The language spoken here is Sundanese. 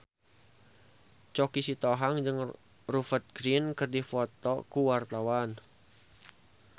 Choky Sitohang jeung Rupert Grin keur dipoto ku wartawan